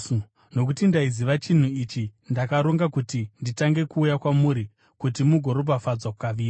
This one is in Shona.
Nokuti ndaiziva chinhu ichi, ndakaronga kuti nditange kuuya kwamuri kuti mugoropafadzwa kaviri.